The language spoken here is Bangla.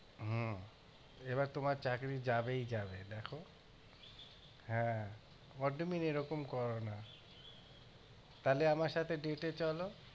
হম এবার তোমার চাকরী যাবেই যাবে দেখো হ্যাঁ what do you mean এরকম করোনা তাহলে আমার সাথে date এ চলো